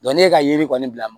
ne ka yiri kɔni bila